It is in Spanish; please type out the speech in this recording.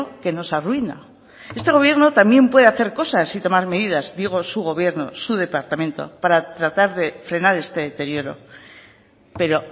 que nos arruina este gobierno también puede hacer cosas y tomar medidas digo su gobierno su departamento para tratar de frenar este deterioro pero